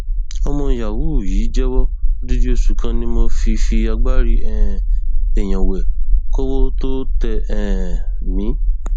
ọmọ yahoo yìí jẹwọ odidi oṣù kan ni mo fi fi agbárí um èèyàn wé kọwọ tóo tẹ um mí